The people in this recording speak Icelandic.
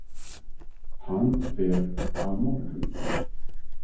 Hann fer á morgun.